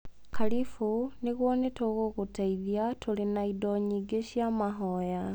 Karĩbũ. Nĩguo nĩ tũgũgũteithia. Tũrĩ na indo nyingĩ cia mahoya.